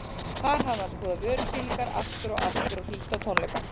Þar hafði hann skoðað vörusýningar aftur og aftur og hlýtt á tónleika.